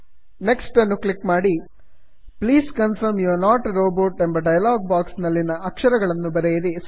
please confirm you're not a robot please confirm you are not a robot ಎಂಬ dialogue box ನಲ್ಲಿ ಕಾಣುವ ಅಕ್ಷರಗಳನ್ನು ಬರೆಯಿರಿ